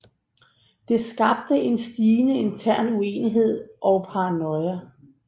Det skabte en stigende intern uenighed og paranoia